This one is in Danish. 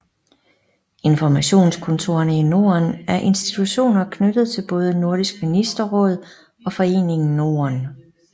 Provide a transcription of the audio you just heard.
Informationskontorerne i Norden er institutioner knyttet til både Nordisk Ministerråd og Foreningen Norden